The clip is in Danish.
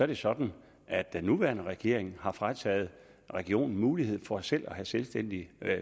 det sådan at den nuværende regering har frataget regionerne mulighed for selv at have selvstændig